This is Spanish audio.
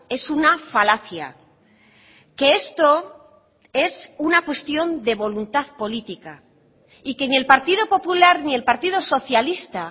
es una falacia que esto es una cuestión de voluntad política y que ni el partido popular ni el partido socialista